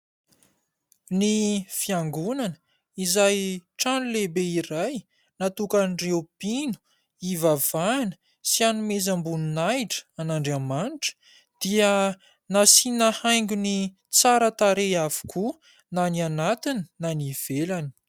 Ny fiangonana izay trano lehibe iray natokan'ireo mpino hivavahana sy hanomezam-boninahitra an'andriamanitra dia nasiana haingony tsara tarehy avokoa na ny anatiny na ny ivelany.